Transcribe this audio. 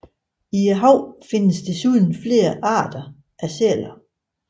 I havet findes desuden flere arter sæler